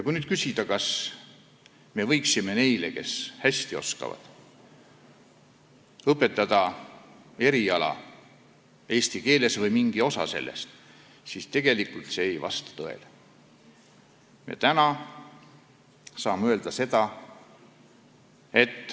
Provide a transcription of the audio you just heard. Kui nüüd küsida, kas me võiksime neile, kes eesti keelt hästi oskavad, õpetada eriala või mingit osa sellest eesti keeles, siis tegelikult ei vasta see tõele.